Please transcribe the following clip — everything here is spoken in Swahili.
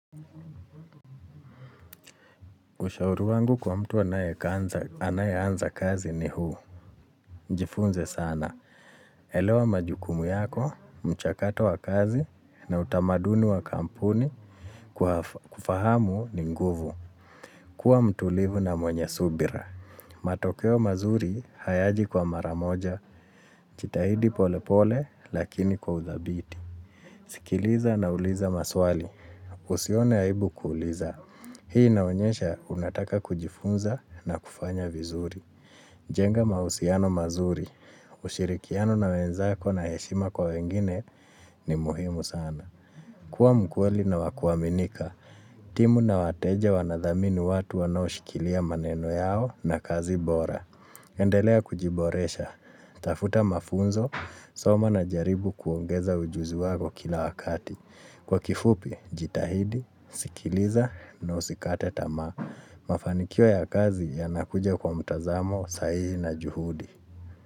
Ushauri wangu kwa mtu anaye anza kazi ni huu. Jifunze sana. Elewa majukumu yako, mchakato wa kazi na utamaduni wa kampuni kufahamu ni nguvu. Kua mtulivu na mwenye subira. Matokeo mazuri hayaji kwa maramoja, jitahidi pole pole lakini kwa udhabiti. Sikiliza na uliza maswali. Usione aibu kuuliza. Hii inaonyesha unataka kujifunza na kufanya vizuri. Jenga mahusiano mazuri, ushirikiano na wenzako na heshima kwa wengine ni muhimu sana. Kuwa mkweli na wakuaminika, timu na wateja wanadhamini watu wanao shikilia maneno yao na kazi bora. Endelea kujiboresha, tafuta mafunzo, soma na jaribu kuongeza ujuzi wako kila wakati. Kwa kifupi, jitahidi, sikiliza na usikate tama, mafanikio ya kazi yanakuja kwa mtazamo, sahihi na juhudi.